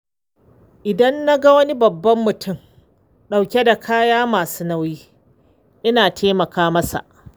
Idan na ga wani babban mutum ɗauke da kaya masu nauyi, ina taimaka masa